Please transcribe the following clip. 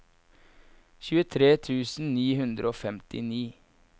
tjuetre tusen ni hundre og femtini